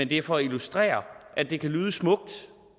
det er for at illustrere at det kan lyde smukt